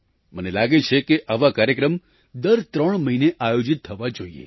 મને લાગે છે કે આવા કાર્યક્રમ દર ત્રણ મહિને આયોજિત થવા જોઈએ